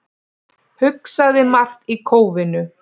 Hugsaði margt í kófinu